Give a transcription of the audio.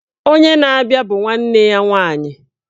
Onye na-abịa bụ nwanne nna ya nwaanyị